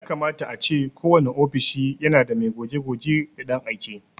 Yakama ace kowane ofishi yana da mai goge-goge da ɗan aike.